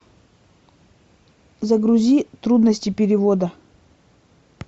загрузи трудности перевода